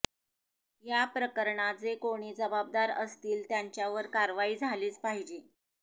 या प्रकरणात जे कोणी जबाबदार असतील त्यांच्यावर कारवाई झालीच पाहिजे